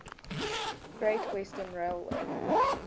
great western railway